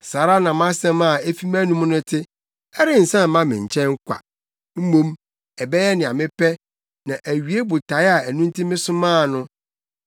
saa ara na mʼasɛm a efi mʼanom no te: Ɛrensan mma me nkyɛn kwa. Mmom ɛbɛyɛ nea mepɛ na awie botae a ɛno nti mesomaa no.